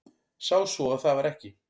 Sá svo að það var ekki.